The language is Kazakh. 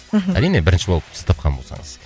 мхм әрине бірінші болып сіз тапқан болсаңыз